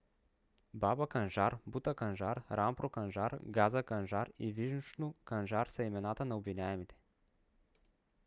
баба канжар бута канжар рампро канжар газа канжар и вишну канжар са имената на обвиняемите